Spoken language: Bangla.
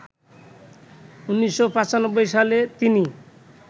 ১৯৯৫ সালে তিনি